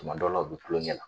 Kuma dɔw la u bɛ kulonkɛ la.